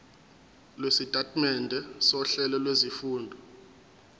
lwesitatimende sohlelo lwezifundo